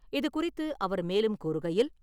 இது குறித்து அவர் மேலும் கூறுகையில்...